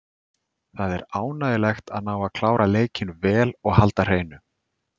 Það er ánægjulegt að ná að klára leikinn vel og halda hreinu.